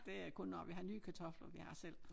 Det er kun når vi har nye kartofler vi har selv